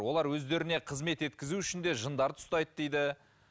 олар өздеріне қызмет еткізу үшін де жындарды ұстайды дейді